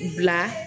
Bila